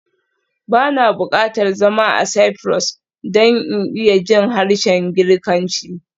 Ba na buƙatar zama a Cyprus don in iya jin harshen Girkanci